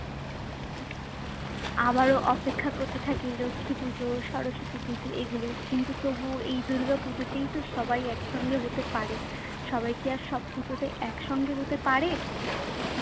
আবারো অপেক্ষা করতে থাকি লক্ষ্মী পুজো, সরস্বতী পুজো এগুলোর কিন্তু তবুও এই দুর্গাপুজোতেই তো সবাই একসঙ্গে হতে পারে। সবাই কি আর সব পুজোতে একসঙ্গে হতে পারে?